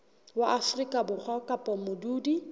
wa afrika borwa kapa modudi